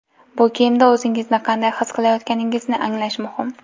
Bu kiyimda o‘zingizni qanday his qilayotganingizni anglash muhim.